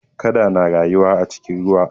Kada na rayuwa a cikin ruwa.